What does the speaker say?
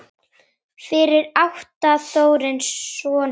Fyrir átti Þórir soninn Þröst.